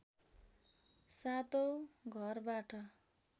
सातौँ घरबाट